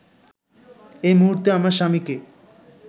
এই মুহূর্তে আমার স্বামীকে